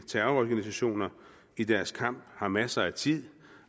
terrororganisationer i deres kamp har masser af tid